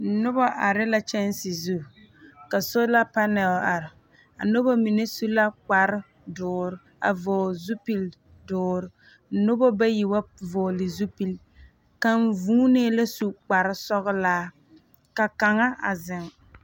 Noba are la kyanse zu, ka sola panɛl ar. A noba mine su la kpar door a vɔgle zupil door, noba bayi wa vɔɔle zupil. Kaŋ vuunee la su kpar sɔglaa, ka kaŋa a zeŋ.